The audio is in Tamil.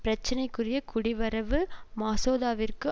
பிரச்சனைக்குரிய குடிவரவு மசோதாவிற்கு